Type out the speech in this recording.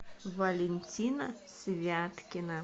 валентина святкина